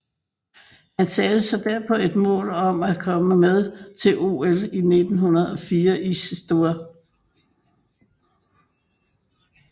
Han satte sig derpå et mål om at komme med til OL 1904 i St